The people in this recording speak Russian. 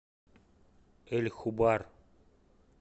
эль хубар